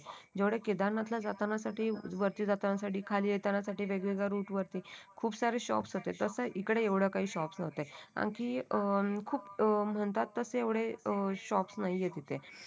जेवढे केदारनाथ ला जाताना साठी वरती जाताना साठी खाली येण्यासाठी वेगवेगळे रूट वरती खूप सारे शॉप होते तसं इकडे येवडे काही शॉप नव्हते आणखी अं खूप अं म्हणतात. एवढे अं शॉप नाही आहे इथे